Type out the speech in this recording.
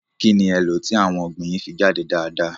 Kí ni e lọ̀ ti àwọn ọ̀gbìn yín fi jáde dáadáa?